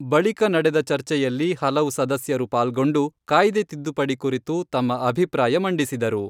ಬಳಿಕ ನಡೆದ ಚರ್ಚೆಯಲ್ಲಿ ಹಲವು ಸದಸ್ಯರು ಪಾಲ್ಗೊಂಡು ಕಾಯ್ದೆ ತಿದ್ದುಪಡಿಕುರಿತು ತಮ್ಮ ಅಭಿಪ್ರಾಯ ಮಂಡಿಸಿದರು.